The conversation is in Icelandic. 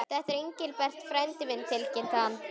Þetta er Engilbert frændi minn tilkynnti hann.